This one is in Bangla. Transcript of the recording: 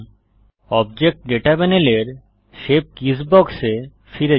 অবজেক্ট ডেটা প্যানেলের শেপ কিস বক্স এ ফিরে যান